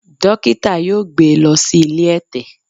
Dókítà yóò gbé lọ sí ilé ẹ̀tẹ̀.